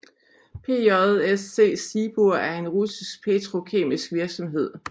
PJSC Sibur er en russisk petrokemisk virksomhed